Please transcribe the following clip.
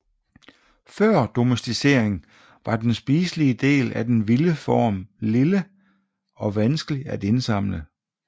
Før domesticering var den spiselige del af den vilde form lille og vanskelig at indsamle